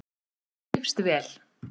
Þrífst vel.